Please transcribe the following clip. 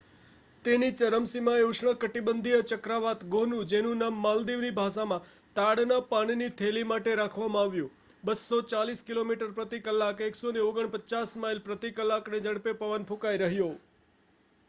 તેની ચરમસીમાએ ઉષ્ણકટિબંધીય ચક્રવાત ગોનુ જેનું નામ માલદીવની ભાષામાં તાડના પાનની થેલી માટે રાખવામાં આવ્યું 240 કિલોમીટર પ્રતિ કલાક 149 માઇલ પ્રતિ કલાકની ઝડપે પવન ફૂંકાઈ રહ્યો